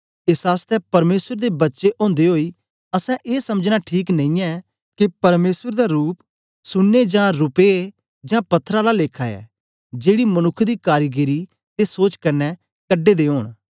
एस आसतै परमेसर दे बच्चे ओदे ओई असैं ए समझना ठीक नेईयैं के परमेसर दा रूप सुन्ने जां रुपे जां पत्थर आला लेखा ऐ जेड़ी मनुक्ख दी कारीगरी ते सोच कन्ने कढे दे ओंन